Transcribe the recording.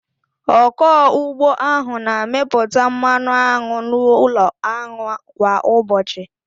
Ọkụ ugbo ahụ na-amịpụta mmanụ aṅụ n'ụlọ aṅụ kwa ụbọchị.